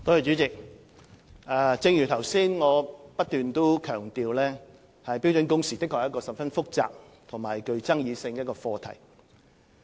主席，正如我剛才不斷強調，標準工時的確是一個十分複雜及具爭議性的課題。